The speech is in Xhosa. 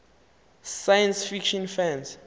science fiction fans